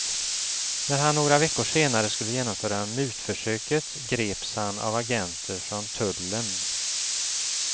När han några veckor senare skulle genomföra mutförsöket greps han av agenter från tullen.